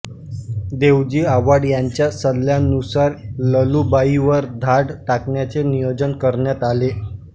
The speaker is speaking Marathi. देवजी आव्हाड यांच्या सल्ल्यानुसार ललूभाईवर धाड टाकण्याचे नियोजन करण्यात आले